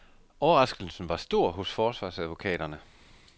Overraskelsen var stor hos forsvarsadvokaterne.